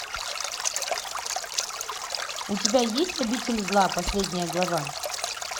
у тебя есть обитель зла последняя глава